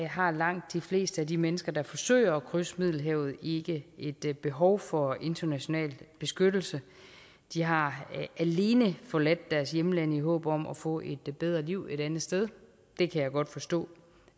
har langt de fleste af de mennesker der forsøger at krydse middelhavet ikke et behov for international beskyttelse de har alene forladt deres hjemland i håb om at få et bedre liv et andet sted det kan jeg godt forstå